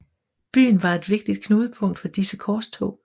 Byen var et vigtigt knudepunkt for disse korstog